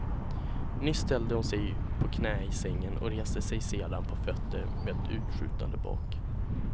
Nyss ställde hon sig på knä i sängen och reste sig sedan på fötter med utskjutande bak.